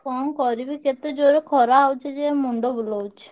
କଣ କରିବି କେତେ ଜୋରେ ଖରା ହଉଛି ଯେ ମୁଣ୍ଡ ବୁଲଉଛି।